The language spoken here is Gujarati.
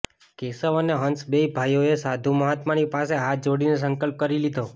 કેશવ અને હંસ બેય ભાઈઓએ સાધુ મહાત્માની પાસે હાથ જોડીને સંકલ્પ કરી લીધો